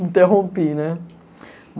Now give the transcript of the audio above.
Interrompi, né?